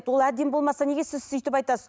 ол әдемі болмаса неге сіз сөйтіп айтасыз